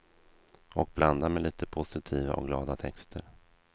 Och blanda med lite positiva och glada texter.